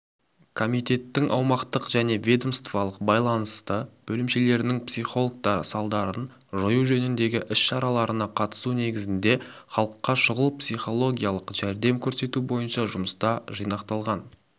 комитеттің аумақтық және ведомстволық бағынысты бөлімшелерінің психологтары салдарын жою жөніндегі іс-шараларына қатысу негізінде халыққа шұғыл психологиялық жәрдем көрсету бойынша жұмыста жинақталған